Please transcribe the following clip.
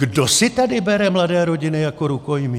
Kdo si tady bere mladé rodiny jako rukojmí?